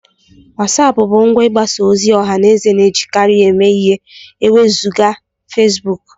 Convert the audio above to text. WhatsApp bụ ngwa mgbasa ozi ọha na eze na-ejikarị eme ihe ma e wezụga Facebook